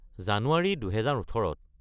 January ২০১৮-ত